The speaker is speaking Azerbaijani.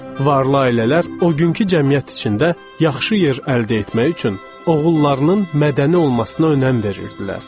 Varlı ailələr o günkü cəmiyyət içində yaxşı yer əldə etmək üçün oğullarının mədəni olmasına önəm verirdilər.